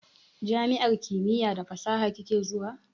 Jami'ar kimiya da fasaha kike zuwa?